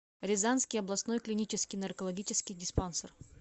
рязанский областной клинический наркологический диспансер